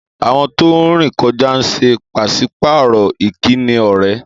Àwọn tó ń rìn kọjá ń ṣe pàṣípààrọ̀ ìkíni ọ̀rẹ́